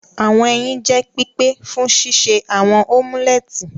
Awọn ẹyin jẹ pipe fun ṣiṣe awọn omuleti.